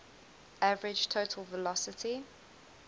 average total velocity